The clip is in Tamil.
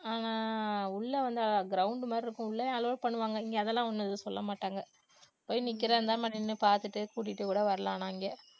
ஆஹ் உள்ள வந்து ground மாதிரி இருக்கும் உள்ளயும் allow பண்ணுவாங்க இங்க அதெல்லாம் ஒண்ணும் எதுவும் சொல்ல மாட்டாங்க. போய் நிக்கறதா இருந்தா நம்ம நின்னு பார்த்துட்டு கூட்டிட்டு கூட வரலாம் ஆனா இங்க